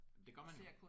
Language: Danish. Jamen det gør man jo